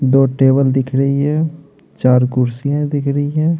दो टेबल दिख रही है चार कुर्सियां दिख रही है।